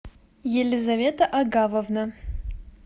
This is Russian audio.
елизавета агавовна